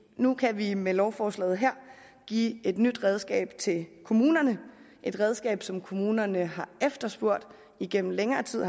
nu kan vi med lovforslaget her give et nyt redskab til kommunerne et redskab som kommunerne har efterspurgt igennem længere tid